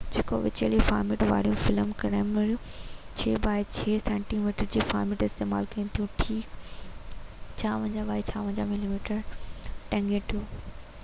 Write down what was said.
ڪجهہ وچولي فارميٽ واريون فلم ڪئميرائون 6 بائي 6 سينٽي ميٽر جو فارميٽ استعمال ڪن ٿيون ٺيڪ 56 بائي 56 ملي ميٽر نيگيٽو